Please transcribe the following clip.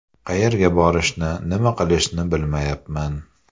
Qayerga borishni, nima qilishni bilmayapman.